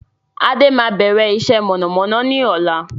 Adé máa bẹ̀rẹ̀ iṣẹ́ mọ̀nàmọ́ná ni ọ̀la